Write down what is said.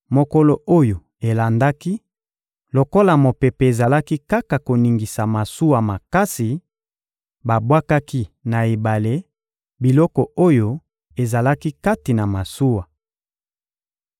Mokolo oyo elandaki, lokola mopepe ezalaki kaka koningisa masuwa makasi, babwakaki na ebale, biloko oyo ezalaki kati na masuwa.